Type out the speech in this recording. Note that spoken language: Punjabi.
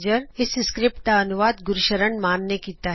ਇਸ ਸਕਰਿਪਟ ਦਾ ਤਰਜੁਮਾਂ ਗੁਰਸ਼ਰਨ ਸ਼ਾਨ ਨੇ ਕੀਤਾ